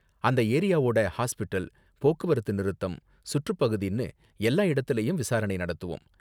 அந்த ஏரியாவோட ஹாஸ்பிடல், போக்குவரத்து நிறுத்தம், சுற்றுப் பகுதின்னு எல்லா இடத்துலயும் விசாரணை நடத்துவோம்.